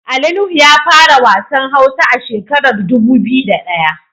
Ali Nuhu ya fara wasan hausa a shekarar dubu biyu da daya.